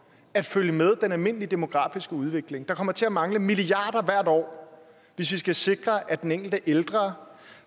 at følge med den almindelige demografiske udvikling der kommer til at mangle milliarder af kroner hvert år hvis vi skal sikre at den enkelte ældre